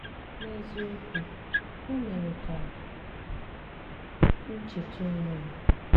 N’eziokwu, ò mere ka m chèta onwe m.